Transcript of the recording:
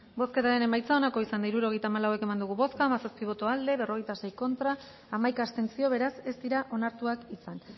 bozketaren emaitza onako izan da hirurogeita hamalau eman dugu bozka hamazazpi boto aldekoa berrogeita sei contra hamaika abstentzio beraz ez dira onartuak izan